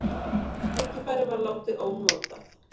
Það tækifæri var látið ónotað.